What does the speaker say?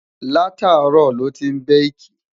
látàárò ló tin baki